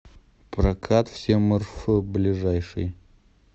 прокатвсемрф ближайший